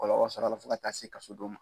Kɔlɔlɔ sɔrɔ a la fo ka taa se kasobon ma.